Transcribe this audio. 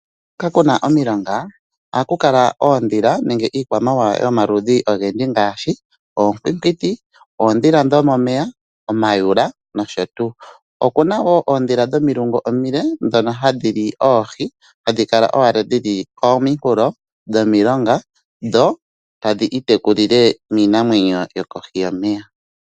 Hoka kuna omilonga, ohaku kala kuna oondhila nenge iikwamawawa yomaludhi ogendji ngaashi oonkwinkwiti, oondhila dhomomeya, omayula. Okuna wo oondhila dhomilungu omile ndhono hadhi li oohi, hadhi kala owala dhili kominkulo dhomilonga, dho tadhi itekulile miinamwenyo yokohi yomeya.